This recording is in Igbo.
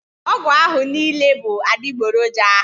Ọgwụ ahụ niile bụ adigboroja